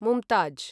Mumtaz